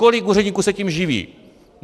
Kolik úředníků se tím živí?